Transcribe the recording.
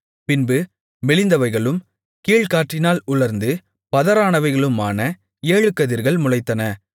பின்பு மெலிந்தவைகளும் கீழ்காற்றினால் உலர்ந்து பதரானவைகளுமான ஏழு கதிர்கள் முளைத்தன